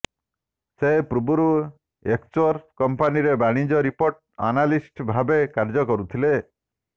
ସେ ପୂର୍ବରୁ ଏକ୍ସୋଚର୍ କମ୍ପାନୀରେ ବାଣିଜ୍ୟ ରିପୋର୍ଟ ଆନାଲିଷ୍ଟ ଭାବେ କାର୍ଯ୍ୟକରୁଥିଲେ